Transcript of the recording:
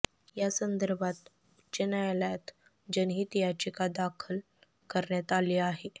या संदर्भात उच्च न्यायालयात जनहित याचिका दाखल करण्यात आली आहे